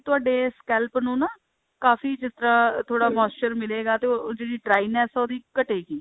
ਤੁਹਾਡੇ scalp ਨੂੰ ਨਾ ਕਾਫੀ ਜਿੱਦਾਂ ਥੋੜਾ moisture ਮਿਲੇਗਾ ਤੇ ਜਿਹੜੀ dryness ਹੈ ਉਹਦੀ ਘਟੇਗੀ